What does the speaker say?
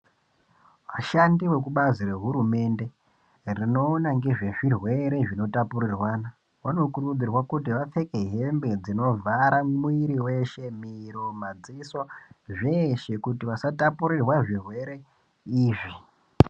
Vashandi vekubazi rehurumende rinoona ngezvezvirwere zvinotapurirwana vanokurudzirwa kuti vapfeke hembe dzinovhara mwiri weshe, miro ,madziso zveshe kuti vasatapurirwa zvirwere izvi.